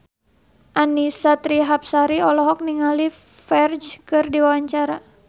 Annisa Trihapsari olohok ningali Ferdge keur diwawancara